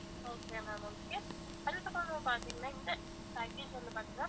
okay ma'am okay அதுக்கப்பறம் பாத்திங்கன்னா இந்த package வந்து பாத்திங்கன்னா